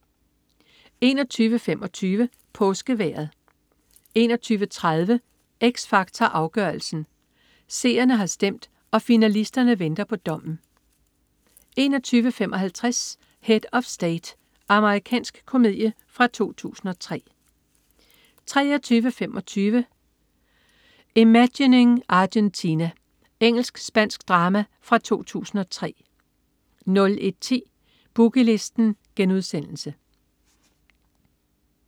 21.25 Påskevejret 21.30 X Factor Afgørelsen. Seerne har stemt, og finalisterne venter på dommen 21.55 Head of State. Amerikansk komedie fra 2003 23.25 Imagining Argentina. Engelsk-spansk drama fra 2003 01.10 Boogie Listen*